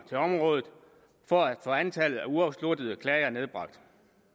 til området for at få antallet af uafsluttede klager nedbragt